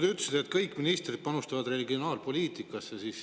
Te ütlesite, et kõik ministrid panustavad regionaalpoliitikasse.